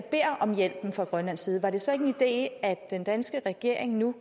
om hjælp fra grønlands side var det så ikke en idé at den danske regering nu